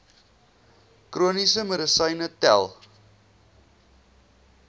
chroniese medisyne tel